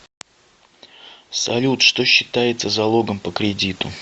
салют что считается залогом по кредиту